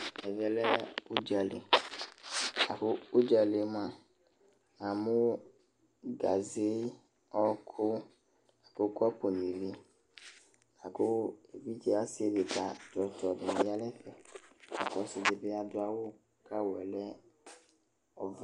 Ɛvɛ lɛ ʋdzali: ʋdzali yɛ mʋa, namʋ gaze, ɔkʋ nʋ kɔpʋ nɩLa kʋ fiase dɩ ta ,ɔsɩ dɩ bɩ adʋ awʋ kʋ awʋ yɛ lɛ ɔvɛ